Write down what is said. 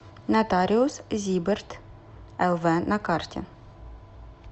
нотариус зиберт лв на карте